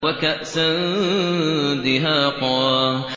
وَكَأْسًا دِهَاقًا